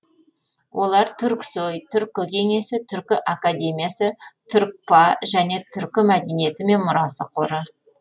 олар түрксои түркі кеңесі түркі академиясы түркпа және түркі мәдениеті мен мұрасы қоры